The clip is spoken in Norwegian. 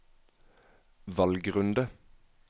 valgrunde